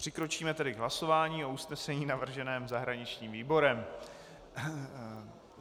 Přikročíme tedy k hlasování o usnesení navrženém zahraničním výborem.